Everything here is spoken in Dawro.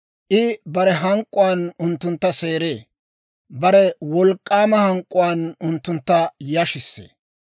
I bare hank'k'uwaan unttuntta seeree; bare wolk'k'aama hank'k'uwaan unttuntta yashissee.